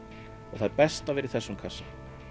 og það er best að vera í þessum kassa